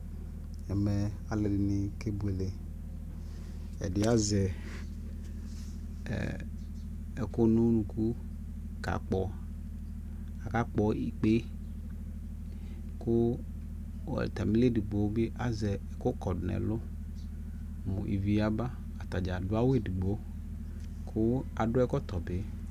ɛmɛ alʋɛdini kɛ bʋɛlɛ ɛdi azɛ ɛɛ ɛkʋ nʋʋnʋkʋ ka kpɔ, aka kpɔ ikpɛ kʋ atamili ɛdigbɔ bi azɛ ɛkʋ kɔdʋ nʋ ɛlʋ mʋ ivi yaba, atagya adʋ awʋ ɛdigbɔ kʋ adʋ ɛkɔtɔ bi